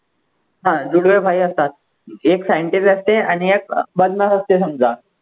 हा जुळवे भाई असतात एक scientist आणि एक बदमाश असते समजा